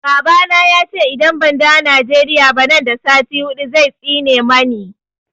Baba na ya ce idan ban dawo Nigeria ba nan da sati hudu zai tsine mani.